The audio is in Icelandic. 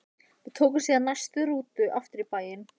Við tókum síðan næstu rútu aftur í bæinn.